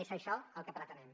és això el que pretenem